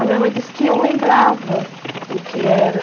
A minha mãe disse que eu lembrava o que era.